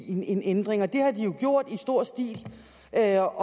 indgive en ændring og det har de jo gjort i stor stil og det er